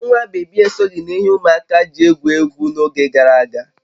Ee, nwa bébí esoghị n'ihe ụmụaka ji egwu egwu n'oge gara aga